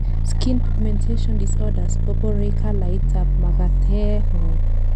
skin pigmentation disorders koborei calait ab makatengung